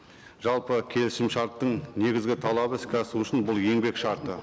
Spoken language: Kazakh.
жалпы келісім шарттың негізгі талабы іске асу үшін бұл еңбек шарты